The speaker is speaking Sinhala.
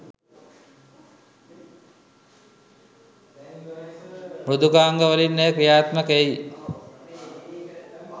මෘදුකාංග වලින් එය ක්‍රියාත්මක එයි.